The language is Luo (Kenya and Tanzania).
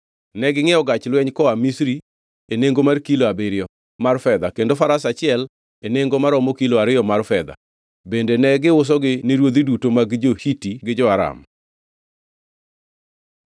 Negingʼiewo gach lweny koa Misri e nengo mar kilo abiriyo mar fedha kendo Faras achiel e nengo maromo kilo ariyo mar fedha. Bende ne giusogi ni ruodhi duto mag jo-Hiti gi jo-Aram.